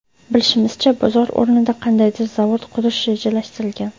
Bilishimizcha bozor o‘rnida qandaydir zavod qurish rejalashtirilgan.